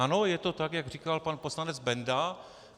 Ano, je to tak, jak říkal pan poslanec Benda.